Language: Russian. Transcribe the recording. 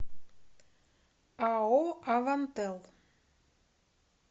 ао авантел